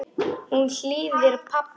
Hún hlýðir pabba.